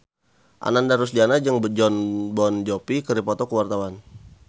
Ananda Rusdiana jeung Jon Bon Jovi keur dipoto ku wartawan